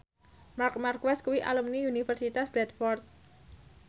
Marc Marquez kuwi alumni Universitas Bradford